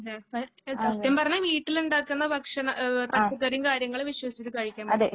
അതെ സത്യം പറഞ്ഞാൽ വീട്ടിലുണ്ടാക്കുന്ന ഭക്ഷണം ഏഹ് പച്ചക്കറിയും കാര്യങ്ങളും വിശ്വസിച്ച് കഴിക്കാൻ പറ്റുവൊള്ളൂ